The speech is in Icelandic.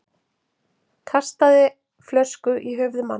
Kastaði flösku í höfuð manns